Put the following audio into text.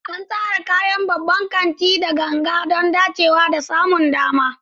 An tsara kayan babban kanti da gangan don dacewa da samun dama.